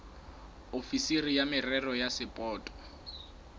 ofisiri ya merero ya sapoto